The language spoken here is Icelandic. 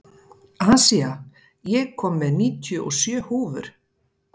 Asía, ég kom með níutíu og sjö húfur!